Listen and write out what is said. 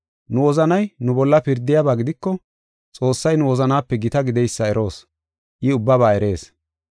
Nu wozanay nu bolla pirdiyaba gidiko, Xoossay nu wozanaape gita gideysa eroos; I ubbaba erees.